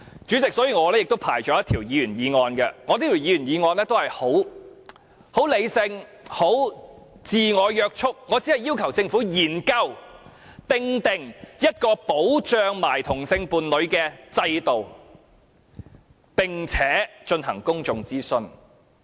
主席，所以我亦提交了一項議員議案，內容相當理性及自我約束，我只要求政府研究訂定一個保障同性伴侶的制度，並且進行公眾諮詢。